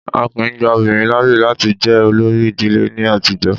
Á kìí gba obìnrin láàyè láti jẹ olórí ìdílé ní àtijọ́.